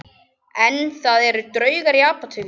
En það eru draugar í Apótekinu